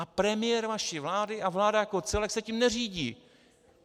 A premiér vaší vlády a vláda jako celek se tím neřídí